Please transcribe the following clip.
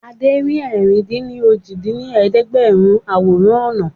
Adé rí ẹ̀rin-dín-ní-ojì dín ní ẹ̀ẹ́dẹ́gbẹ́rún àwòrán ọ̀nà